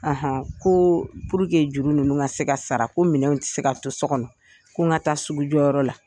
Ahan ko juru ninnu ka se ka sara ko minɛn tɛ se ka to so kɔnɔ ko n ka taa sugujɔ yɔrɔ la.